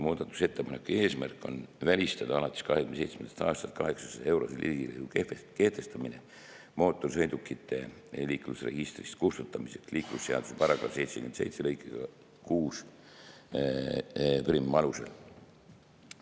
Muudatusettepaneku eesmärk on välistada alates 2027. aastast 800-eurose riigilõivu kehtestamine mootorsõidukite liiklusregistrist kustutamiseks liiklusseaduse § 77 lõike 61 alusel.